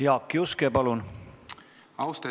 Jaak Juske, palun!